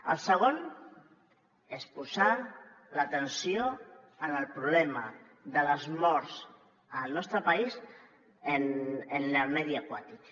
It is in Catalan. el segon és posar l’atenció en el problema de les morts al nostre país en el medi aquàtic